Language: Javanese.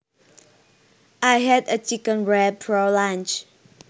I had a chicken wrap for lunch